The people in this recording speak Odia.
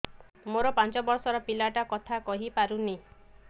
ମୋର ପାଞ୍ଚ ଵର୍ଷ ର ପିଲା ଟା କଥା କହି ପାରୁନି